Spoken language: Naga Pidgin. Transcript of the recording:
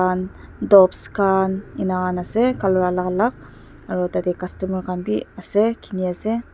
tops khan ena khan ase colour alak alak aru tate customer khan bi ase khini ase.